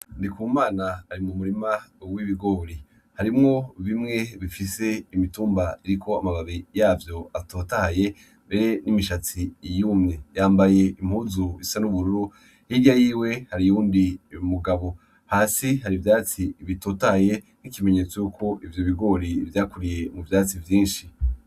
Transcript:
Ndikumana ari mu murima w'ibigori harimwo bimwe bifise imitumba iriko amababi yavyo atotahaye mbere n'imishatsi yumye yambaye impuzu isa n'ubururu irya yiwe har'iwundi mugabo hasi har'ivyatsi bitotaye nk'ikimenyetso yuko ivyo bigori vyakuriye mu vyatsi vyinshi.